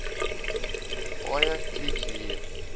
paaie kliek hier